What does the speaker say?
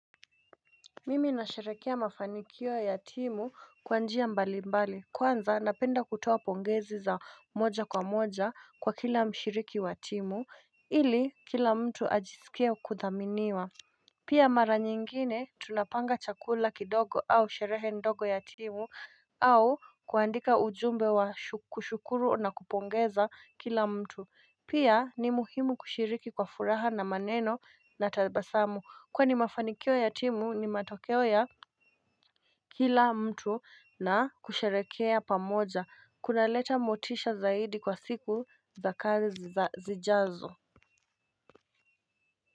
Mimi na sherekea mafanikio ya timu kwa njia mbali mbali kwanza napenda kutoa pongezi za moja kwa moja kwa kila mshiriki wa timu ili kila mtu ajisikia kuthaminiwa Pia mara nyingine tunapanga chakula kidogo au sherehe ndogo ya timu au kuandika ujumbe wa kushukuru na kupongeza kila mtu Pia ni muhimu kushiriki kwa furaha na maneno na tabasamu Kwani mafanikio ya timu ni matokeo ya kila mtu na kusherekea pamoja Kuna leta motisha zaidi kwa siku za kazi za zijazo.